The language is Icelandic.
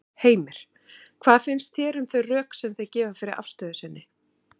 Heimir: Hvað finnst þér um þau rök sem þau gefa fyrir afstöðu sinni?